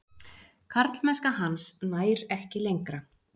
Karlmennska hans nær ekki lengra.